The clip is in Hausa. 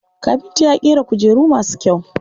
Kafinta ya ƙera kujeru masu kyau.